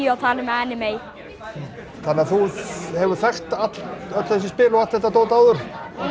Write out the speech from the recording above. og anime þannig að þú hefur þekkt öll þessi spil og allt þetta dót áður